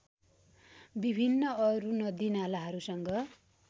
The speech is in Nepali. विभिन्न अरू नदीनालाहरूसँग